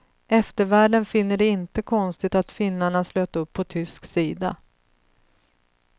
Eftervärlden finner det inte konstigt att finnarna slöt upp på tysk sida.